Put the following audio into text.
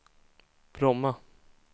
Bromma